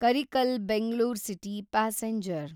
Karikal Bengaluru city passenger